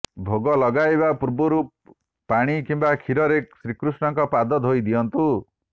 ଭୋଗ ଲଗାଇବା ପୂର୍ବରୁ ପାଣି କିମ୍ବା ଖିରରେ ଶ୍ରୀକଷ୍ଣଙ୍କ ପାଦ ଧୋଇ ଦିଅନ୍ତୁ